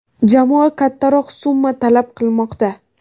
Jamoa kattaroq summa talab qilmoqda.